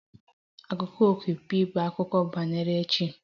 Akụkọ okpukpe bụ akụkọ banyere chi